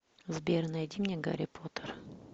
сбер найди мне гарри поттер